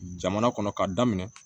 Jamana kɔnɔ k'a daminɛ